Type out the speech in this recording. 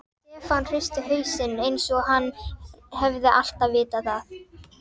Stefán hristi hausinn eins og hann hefði alltaf vitað það.